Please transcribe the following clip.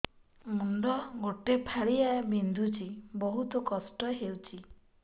ମୁଣ୍ଡ ଗୋଟେ ଫାଳିଆ ବିନ୍ଧୁଚି ବହୁତ କଷ୍ଟ ହଉଚି